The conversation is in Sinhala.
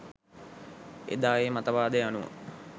එදා ඒ මතවාදය අනුව